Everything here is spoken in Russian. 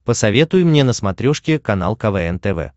посоветуй мне на смотрешке канал квн тв